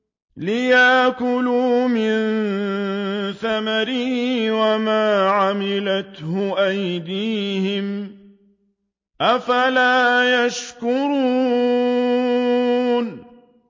لِيَأْكُلُوا مِن ثَمَرِهِ وَمَا عَمِلَتْهُ أَيْدِيهِمْ ۖ أَفَلَا يَشْكُرُونَ